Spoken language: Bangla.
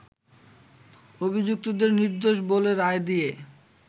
অভিযুক্তদের নির্দোষ বলে রায় দিয়ে